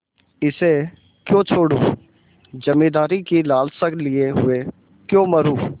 इसे क्यों छोडूँ जमींदारी की लालसा लिये हुए क्यों मरुँ